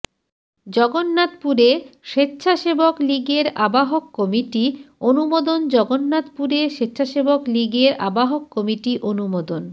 জগন্নাথপুরে সেচ্ছাসেবক লীগের আহ্বায়ক কমিটি অনুমোদন জগন্নাথপুরে সেচ্ছাসেবক লীগের আহ্বায়ক কমিটি অনুমোদন